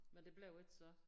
Men det blev ikke så?